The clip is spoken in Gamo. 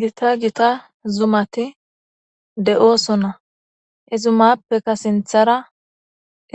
Gita gita zumati de7oosona ezumappeka sinthara